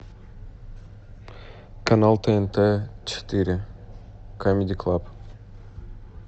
канал тнт четыре камеди клаб